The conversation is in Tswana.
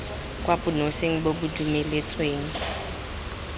kwa bonosing bo bo dumeletsweng